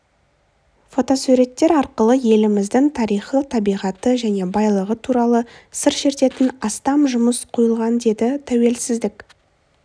фотосуреттер арқылы еліміздің тарихы табиғаты және байлығы туралы сыр шертетін астам жұмыс қойылған деді тәуелсіздік